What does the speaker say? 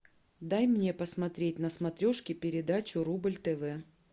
дай мне посмотреть на смотрешке передачу рубль тв